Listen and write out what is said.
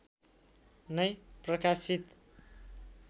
नै प्रकाशित